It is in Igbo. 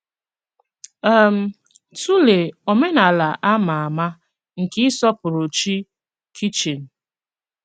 um Tụléè òmènàlà à mà àmà nkè ịsọpụrụ chí kìchìn.